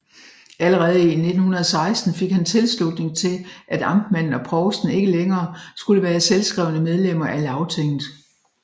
Allerede i 1916 fik han tilslutning til at amtmanden og provsten ikke længere skulle være selvskrevne medlemmer af Lagtinget